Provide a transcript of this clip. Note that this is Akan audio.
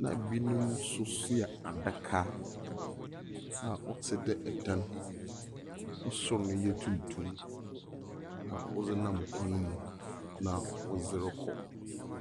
Na binom nso soa adaka a ɔte dɛ dan. Ne sor no yɛ tuntum. Na wɔdze kwan mu. Na wɔdze rekɔ.